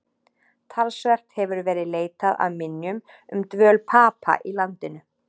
Talsvert hefur verið leitað að minjum um dvöl Papa í landinu.